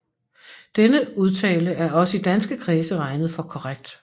Denne udtale er også i danske kredse regnet for korrekt